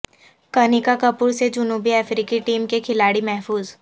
کنیکا کپور سے جنوبی افریقی ٹیم کے کھلاڑی محفوظ